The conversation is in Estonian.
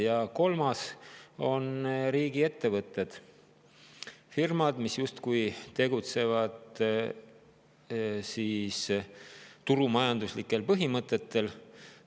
Ja kolmas on riigiettevõtted, firmad, mis justkui tegutsevad turumajanduslikel põhimõtetel.